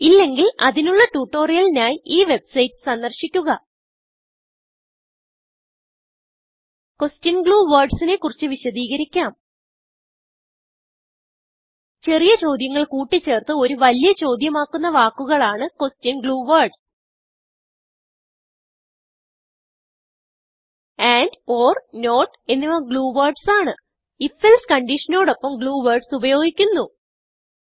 ഇല്ലെങ്കിൽ അതിനുള്ള ട്യൂട്ടോറിയലിനായി ഈ വെബ്സൈറ്റ് സന്ദർശിക്കുക ക്വെഷൻ ഗ്ലൂ വേർഡ്സ് നെ കുറിച്ച് വിശദികരിക്കാം ചെറിയ ചോദ്യങ്ങൾ കൂട്ടി ചേർത്ത് ഒരു വലിയ ചോദ്യം ആക്കുന്ന വാക്കുകൾ ആണ് ക്വെഷൻ ഗ്ലൂ വേർഡ്സ് andornotഎന്നിവ glue wordsആണ് if else conditionനോടൊപ്പം ഗ്ലൂ വേർഡ്സ് ഉപയോഗിക്കുന്നു